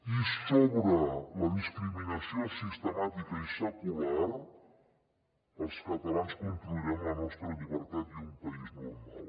i sobre la discriminació sistemàtica i secular els catalans construirem la nostra llibertat i un país normal